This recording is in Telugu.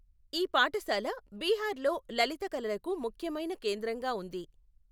ఈ పాఠశాల బీహార్లో లలిత కళలకు ముఖ్యమైన కేంద్రంగా ఉంది.